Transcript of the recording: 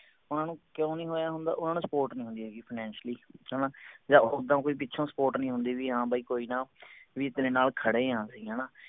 ਓਹਨਾ ਨੂੰ ਕਿਉਂ ਨਹੀਂ ਹੋਇਆ ਹੁੰਦਾ ਓਹਨਾ ਨੂੰ support ਨਹੀਂ ਹੁੰਦੀ ਹੈਗੀ finacially ਹਣਾ ਜਾ ਉੱਦਾਂ ਕੋਈ ਪਿੱਛੋਂ support ਨਹੀਂ ਹੁੰਦੀ ਵੀ ਹਾਂ ਬਾਈ ਕੋਈ ਨਾ ਵੀ ਤੇਰੇ ਨਾਲ ਖੜੇ ਆਂ ਅਸੀਂ ਹਣਾ